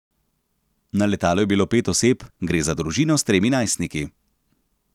Na letalu je bilo pet oseb, gre za družino s tremi najstniki.